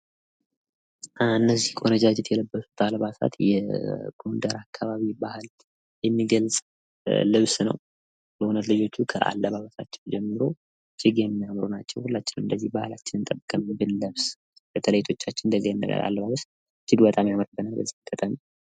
እነዚህ ቆነጃጅት የለበሱት አልባሳት የጎንደር አካባቢ ባህል ልብስ ነው። በእውነት ልጆች ከአለባበሳቸው ጀምሮ እጅግ የሚያምሩ ናቸው። ሁላችንም እንደዚህ ባህላችንን ጠብቀን ብንለብስ በተለይ እህቶቻችን እንደዚህ አይነት አለባበስ በጣም ያምራል።